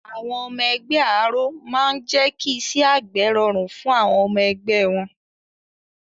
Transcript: Àwọn ẹgbẹ́ Àáró máa n jẹ́ kí iṣẹ́ àgbẹ̀ rọrùn fún àwọn ọmọ ẹgbẹ́ wọn